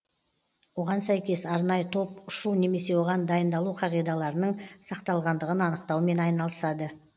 оған сәйкес арнайы топ ұшу немесе оған дайындалу қағидаларының сақталғандығын анықтаумен айналысады